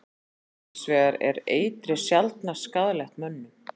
Hins vegar er eitrið sjaldnast skaðlegt mönnum.